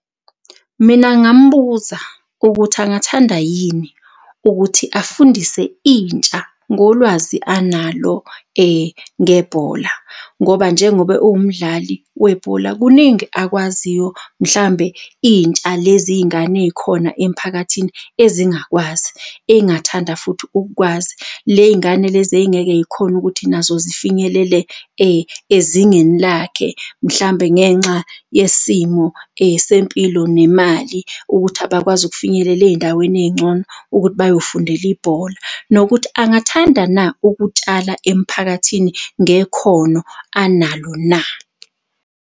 Mina ngambuza ukuthi angathanda yini ukuthi afundise intsha ngolwazi analo ngebhola ngoba njengoba ewumdlali webhola kuningi akwaziyo mhlambe intsha lezingane ey'khona emphakathini ezingakwazi ey'ngathanda futhi ukukwazi ley'ngane lezi ey'ngeke y'khone ukuthi nazo zifinyelele ezingeni lakhe mhlambe ngenxa yesimo sempilo nemali ukuthi abakwazi ukufinyelela ey'ndaweni ey'ncono ukuthi bayofundela ibhola nokuthi angathanda na ukutshala emphakathini ngekhono analo na?